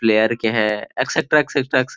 player के हैं etcetera etcetera एक्से --